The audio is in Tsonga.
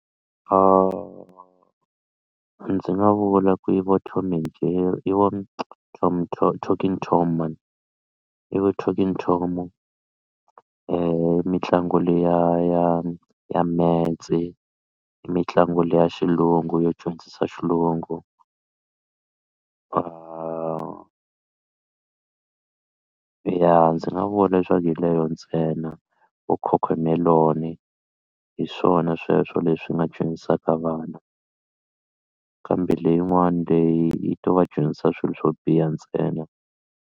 Ndzi nga vula ku i vo Tom and Jerry i vo talking tom man i vo talking tom i mitlangu liya ya ya metse i mitlangu liya ya xilungu yo dyondzisa xilungu ya ndzi nga vula leswaku hi leyo ntsena va cocomelon hi swona sweswo leswi nga dyondzisaka vana kambe leyin'wani leyi yi to va dyondzisa swilo swo biha ntsena.